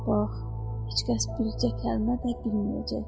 Bax, heç kəs bircə kəlmə də bilməyəcək.